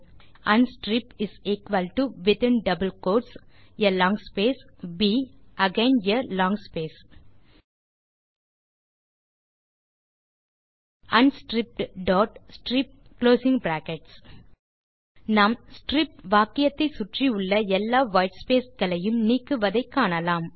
அன்ஸ்ட்ரிப்ட் within double quotes a long space ப் again a long space unstrippedstrip நாம் strip வாக்கியத்தை சுற்றி உள்ள எல்லா வைட்ஸ்பேஸ் களையும் நீக்குவதை காணலாம்